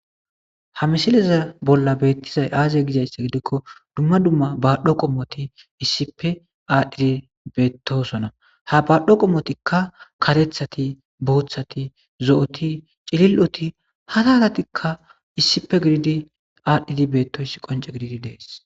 Ha misileza bolla betizay aze gizaysa gidikon dumma dumma badho qomot issippe adhid betosona ha badho qomotika karethat , bothat , zo'ot , cili'ot hara haratikka issippe gidid adhid betosona qonce gidid Des.